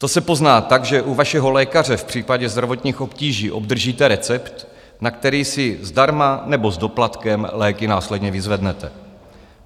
To se pozná tak, že u vašeho lékaře v případě zdravotních obtíží obdržíte recept, na který si zdarma nebo s doplatkem léky následně vyzvednete.